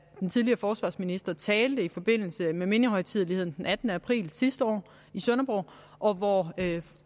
den tidligere forsvarsminister talte i forbindelse med mindehøjtideligheden den attende april sidste år i sønderborg og hvor